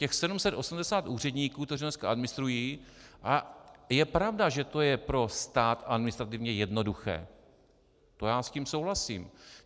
Těch 780 úředníků, kteří dneska administrují - a je pravda, že to je pro stát administrativně jednoduché, to já s tím souhlasím.